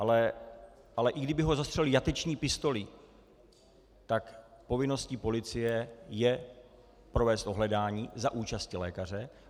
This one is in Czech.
Ale i kdyby ho zastřelili jateční pistolí, tak povinností policie je provést ohledání za účasti lékaře.